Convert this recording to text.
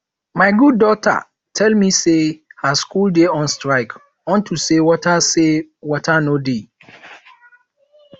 my god daughter tell me say her school dey on strike unto say water say water no dey